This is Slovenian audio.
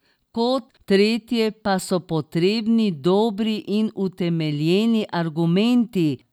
Kot tretje pa so potrebni dobri in utemeljeni argumenti.